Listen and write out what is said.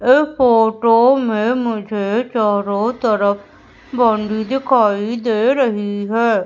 इस फोटो में मुझे चारों तरफ बाउंड्री दिखाई दे रही हैं।